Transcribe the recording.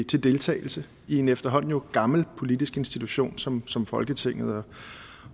til deltagelse i den efterhånden gamle politiske institution som som folketinget